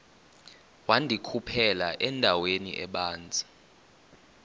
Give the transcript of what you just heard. wandikhuphela endaweni ebanzi